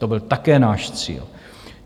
To byl také náš cíl.